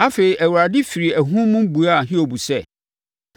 Afei, Awurade firi ahum mu buaa Hiob sɛ,